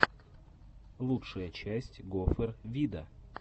лучшая часть гофер вида